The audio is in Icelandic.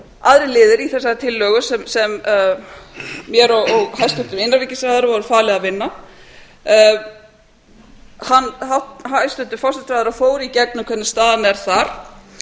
aðrir liðir í þessari tillögu sem mér og hæstvirtum innanríkisráðherra var falið að vinna hæstvirtur forsætisráðherra fór í gegnum hvernig staðan er þar